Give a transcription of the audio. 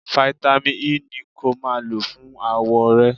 Fáítámì E ni kó máa lọ fún àwọ̀ rẹ.